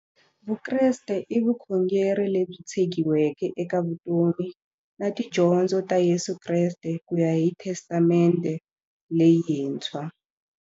Vukreste i vukhongeri lebyi tshegiweke eka vutomi na tidyondzo ta Yesu Kreste kuya hi Testamente leyintshwa.